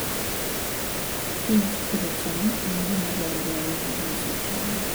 Tij pidho cham en gima dwarore ahinya e loso chiemo.